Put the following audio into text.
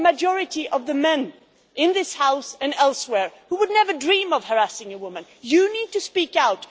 The majority of the men in this House and elsewhere, who would never dream of harassing a woman, you need to speak out.